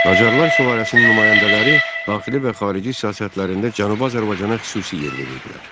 Qacarlar sülaləsinin nümayəndələri daxili və xarici siyasətlərində Cənubi Azərbaycana xüsusi yer verirdilər.